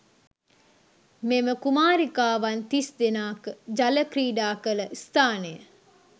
මෙම කුමාරිකාවන් තිස්දෙනා ජල ක්‍රීඩාකළ ස්ථානය.